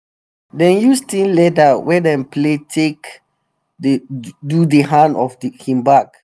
dem use thin leather wey dem plait take do di hand of him bag